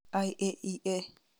IAEA